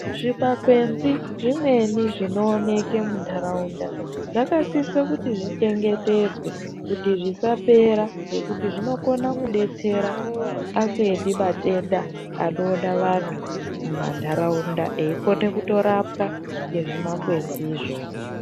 Zvimakwenzi zvimweni zvinooneke munharaunda zvakasise kuti zvichengetedzwe kuti zvisapera ngekuti zvinokone kudetsere kurape amweni matenda anoona vantu mumanharaunda eikone kutorapwa ngezvimakwenzizvo.